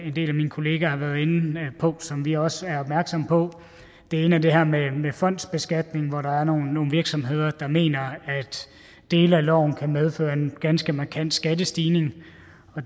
en del af mine kollegaer har været inde på som vi også er opmærksomme på det ene er det her med med fondsbeskatningen hvor der er nogle virksomheder der mener at dele af loven kan medføre en ganske markant skattestigning